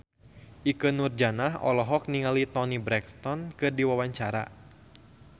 Ikke Nurjanah olohok ningali Toni Brexton keur diwawancara